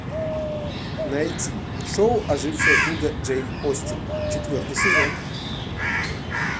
найти шоу ожившая книга джейн остин четвертый сезон